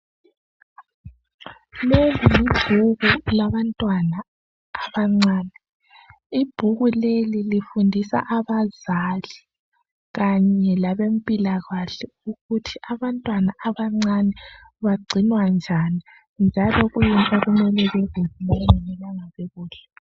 Leli libhuku labantwana abancane . Ibhuku leli lifundisa abazali kanye labempilakahle ukuthi abantwana abancane bagcinwa njani njalo kuyini okumele bekudle lokungamelanga bekudle